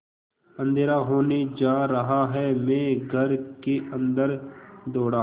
अँधेरा होने जा रहा है मैं घर के अन्दर दौड़ा